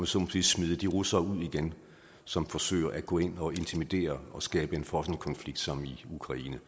så må sige smide de russere som forsøger at gå ind og intimidere og skabe en frossen konflikt som i ukraine